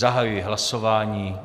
Zahajuji hlasování.